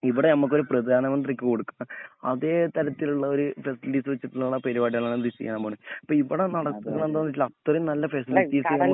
ഇവിടെ നമ്മക്ക് ഒരു പ്രദാനമത്രിക്ക് കൊടുക്കുന്ന അതെ തരത്തിലുള്ള ഒരു ഫെസിലിറ്റിസ് വെച്ചിട്ടുള്ള പരിപാടിയാണ്ഇപ്പൊവിടെ ചെയ്യാൻപോണെ അപ്പമിവിടെ നടക്കുന്നെ എന്താന്നുവെച്ചാല് അത്രേം നല്ല ഫെസിലിറ്റിസ് നമുക്ക്